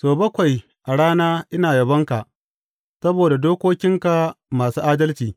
Sau bakwai a rana ina yabonka saboda dokokinka masu adalci.